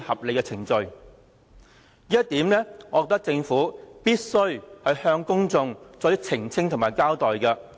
我認為政府必須向公眾澄清和交代這一點。